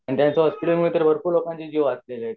त्यांच्या हॉस्पिटल मध्ये तर भरपूर लोकंचे जीव वाचेले आहे